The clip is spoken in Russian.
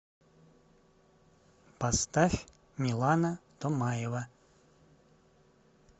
поставь милана томаева